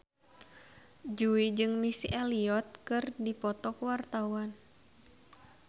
Jui jeung Missy Elliott keur dipoto ku wartawan